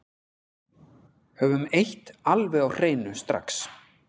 Höfum eitt alveg á hreinu strax